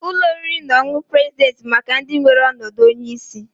Ụlọ oriri na ọṅụṅụ president bụ maka ndị nwere ọnọdụ onye isi.